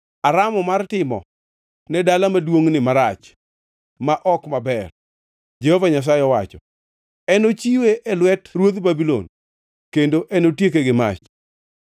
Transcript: Aramo mar timo ne dala maduongʼni marach ma ok maber, Jehova Nyasaye owacho. Enochiwe e lwet ruodh Babulon, kendo enotieke gi mach.’